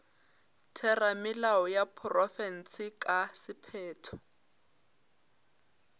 theramelao ya profense ka sephetho